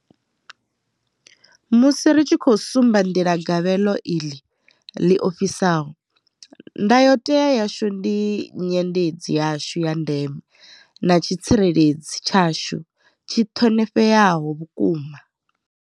Musi ri tshi khou sumba nḓila gabelo iḽi ḽi ofhisaho, ndayotewa yashu ndi nyendedzi yashu ya ndeme na tshitsireledzi tshashu tshi ṱhonifheaho vhukuma.